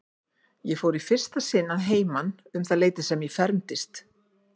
Ég fór í fyrsta sinni að heiman um það leyti sem ég fermdist.